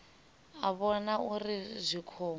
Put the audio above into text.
a vhona uri zwi khombo